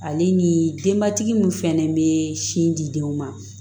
Ale ni denbatigi min fɛnɛ be sin di denw ma